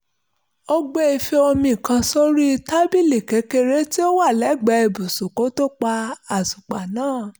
ó gbé ife omi kan sórí tábìlì kékeré tí ó wà lẹ́gbẹ̀ẹ́ ibùsùn kó tó pa àtùpà náà